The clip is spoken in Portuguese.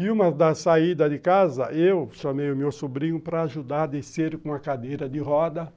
E uma da saída de casa, eu chamei o meu sobrinho para ajudar a descer com a cadeira de roda,